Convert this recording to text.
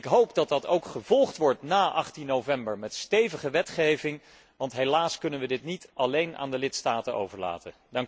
Ik hoop dat dat ook gevolgd wordt na 18 november met stevige wetgeving, want helaas kunnen we dit niet alleen aan de lidstaten overlaten.